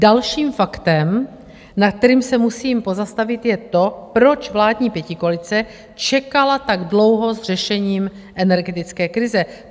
Dalším faktem, nad kterým se musím pozastavit, je to, proč vládní pětikoalice čekala tak dlouho s řešením energetické krize.